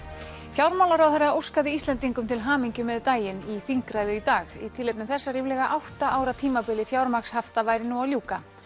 fjármálaráðherra óskaði Íslendingum til hamingju með daginn í þingræðu í dag í tilefni þess að ríflega átta ára tímabili fjármagnshafta væri nú að ljúka